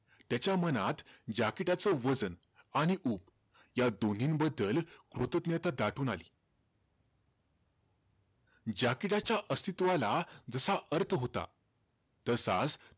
त्याच्या मनात jacket च वजन आणि उब, या दोन्हीबद्दल कृतज्ञता दाटून आली. jacket च्या अस्तित्वाला जसा अर्थ होता, तसाचं,